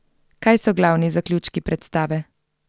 Kaj so glavni zaključki predstave?